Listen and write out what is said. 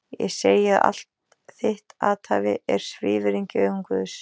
Ég segi að allt þitt athæfi er svívirðing í augum Guðs!